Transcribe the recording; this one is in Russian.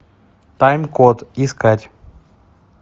тайм код искать